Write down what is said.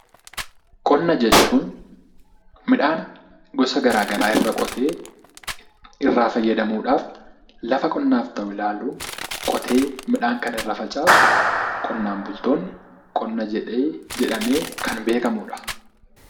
Qonna jechuun midhaan gosa garaa garaa irra qotee irraa fayyadamuudhaaf, lafa qonnaaf ta'u ilaaluu qotee midhaan kan irra facaasu qonnaan bultoonni qonna jedhee jedhamee kan beekamudha.